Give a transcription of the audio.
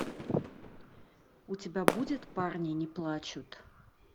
у тебя будет парни не плачут